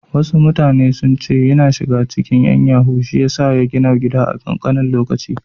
Wasu mutane sun ce ya shiga cikin ƴan yahoo shiyasa ya gina babban gidan nan a ƙanƙanin lokaci.